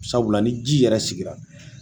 Sabula ni ji yɛrɛ sigira